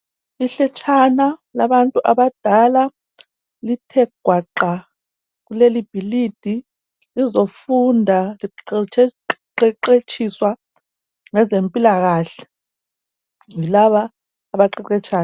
Ihletshana labantu abadala, lithe gwaqa kuleli bhilidi lizofunda liqeqetshiswa ngezempilakahle yilaba abaqeqetshayo.